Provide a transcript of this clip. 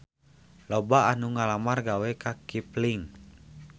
Loba anu ngalamar gawe ka Kipling